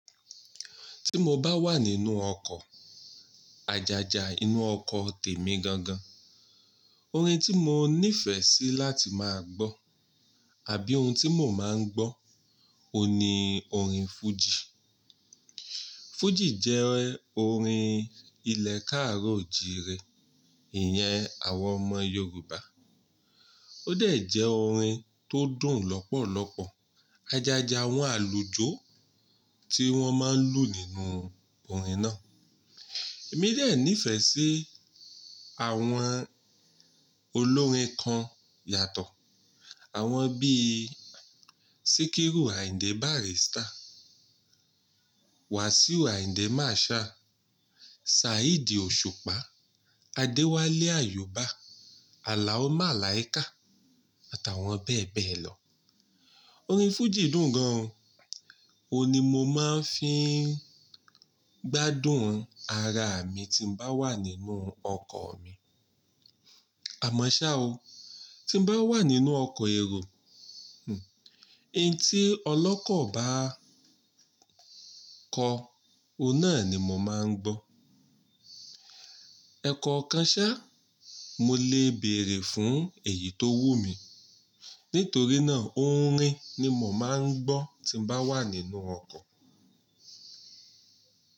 Tí mo bá wà nínú ọkọ̀, àjàjà inú ọkọ̀ tè mí gan gan. Orin tí mo nífẹ̀ẹ́ sí láti máa gbọ́ àbí ohun tí mò máa ń gbọ́, ohun ní orin fújì. Fújì jẹ́ orin ilẹ̀ káàró jire ìyẹn àwọn ọmọ Yorùbá. Ó dẹ̀ jẹ́ orin tó dùn lọ́pọ̀lọpọ̀. Àjàjà àwọn àlùjọ tí wọ́n máa ń lù nínú orin náà. Èmi dẹ̀ nífẹ̀ẹ́ sí àwọn olórin kan yàtọ̀. Àwọn bíi Sikiru Ayinde Barrister, Wasiu Ayinde Marshal, Saheed Osupa, Adewale Ayuba, Alao Malaika à tàwọn bẹ́ẹ̀ bẹ́ẹ̀ lọ. Orin fújì dùn gan-an o, òhun ní mo máa ń fi gbádùn ara mi tí n bá wà nínú ọkọ̀ mi. Àmọ́ ṣá o, tí n bá wà nínú ọkọ̀ èrò, ohun tí ọlọ́kọ̀ bá kọ, òhun náà ni mò máa ń gbọ́. Ẹ kọ̀ ọkàn ṣá, mo lè bèèrè fún èyí tó wù mí. Nítorí náà orin ni mò máa ń gbọ́ tí n bá wà nínú ọkọ̀.